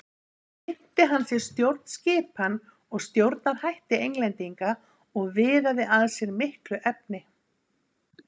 Þar kynnti hann sér stjórnskipan og stjórnarhætti Englendinga og viðaði að sér miklu efni.